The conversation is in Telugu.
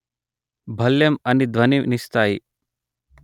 భళ్ళెం అని ధ్వని నిస్తాయి